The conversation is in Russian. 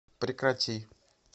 прекрати